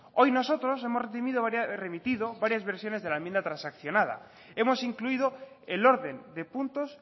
hoy nosotros hemos remitido varias versiones de la enmienda transaccionada hemos incluido el orden de puntos